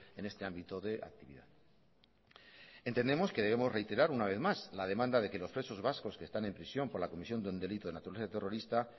en este ámbito de actividad entendemos que tenemos que reiterar una vez más la demanda de que los presos vascos que están con prisión por la comisión de un delito de actividad terrorista